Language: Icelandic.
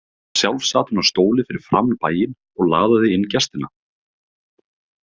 Sjálf sat hún á stóli fyrir framan bæinn og laðaði inn gestina.